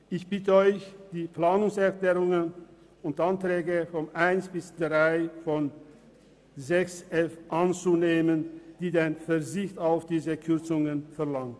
Ich bitte Sie, die Planungserklärungen 1 bis 3 zum Themenblock 6.f anzunehmen, welche den Verzicht auf diese Kürzungen verlangen.